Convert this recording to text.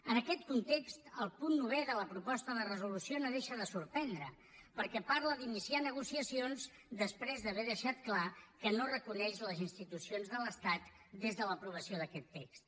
en aquest context el punt novè de la proposta de resolució no deixa de sorprendre perquè parla d’iniciar negociacions després d’haver deixat clar que no reconeix les institucions de l’estat des de l’aprovació d’aquest text